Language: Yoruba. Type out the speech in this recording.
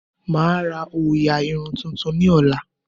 Mà á ra òòyà irun tuntun ní ọ̀la